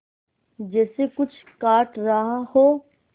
जैसे कुछ काट रहा हो